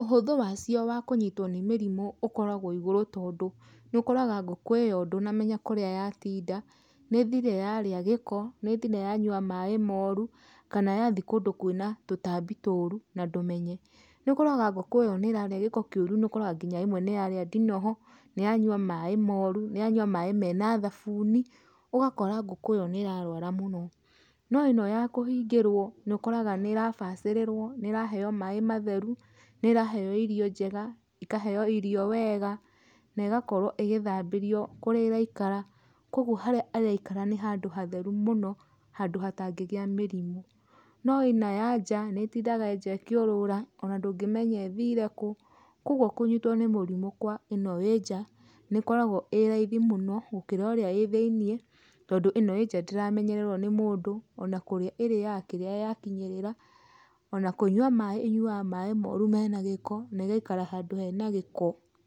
Ũhũthũ wacio wa kũnyitwo nĩ mĩrimũ ũkoragwo wĩ igũrũ tondũ, nĩ ũkoraga ngũkũ ĩyo ndũnamenya kũrĩa yatinda, nĩthire yarĩa gĩko, nĩthire yanyua maĩ moru, kana yathi kondũ kwĩna tũtambi tũru na ndũmenye. Nĩ ũkoraga ngũkũ ĩyo nĩ ĩrarĩa gĩko kĩũru, nĩ ũkoraga nginya rĩmwe nĩ yarĩa ndinoho, nĩ yanyua maĩ moru, nĩ yanyua maĩ mena thabuni, ũgakora ngũkũ ĩyo nĩ ĩrarũara mũno. No ĩno ya kũhingĩrwo nĩ ũkoraga nĩ ĩrabacĩrĩrwo, nĩ ĩraheo maĩ matheru, nĩ ĩraheo irio njega, ĩkaheo irio wega, na ĩgakorwo ĩgĩthambĩrio kũrĩa ĩraikara, kogwo harĩa ĩraikara nĩ handũ hatheru mũno, handũ hatangĩgĩa mĩrimũ. No ino ya nja, nĩ ĩtindaga nja ĩkĩũrũra, ona ndũngĩmenya ĩthire kũ, kogwo kũnyitwo nĩ mũrimũ kwa ino ĩnja, nĩ ĩkoragwo ĩ raithi mũno gũkĩra ĩrĩa ĩ thĩinie tondũ ino ĩ nja ndĩramenyererwo nĩ mũndũ, ona kũrĩa ĩrĩaga kĩrĩa ya kinyĩrĩra, ona kũnywa maĩ ĩnyuaga maĩ moru mena gĩko, na ĩgaikara handũ hena gĩko.